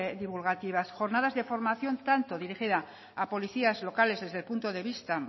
divulgativas jornadas de formación tanto dirigida a policías locales desde el punto de vista